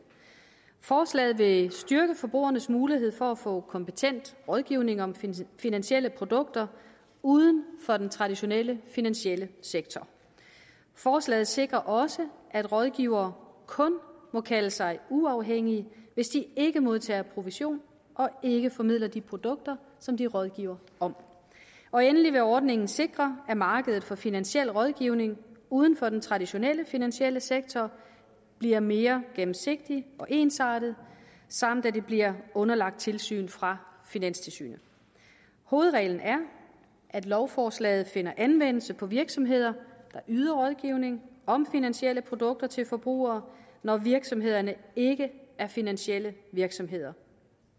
forslaget vil styrke forbrugernes mulighed for at få kompetent rådgivning om finansielle produkter uden for den traditionelle finansielle sektor forslaget sikrer også at rådgivere kun må kalde sig uafhængige hvis de ikke modtager provision og ikke formidler de produkter som de rådgiver om og endelig vil ordningen sikre at markedet for finansiel rådgivning uden for den traditionelle finansielle sektor bliver mere gennemsigtigt og ensartet samt at det bliver underlagt tilsyn fra finanstilsynet hovedreglen er at lovforslaget finder anvendelse på virksomheder der yder rådgivning om finansielle produkter til forbrugere når virksomhederne ikke er finansielle virksomheder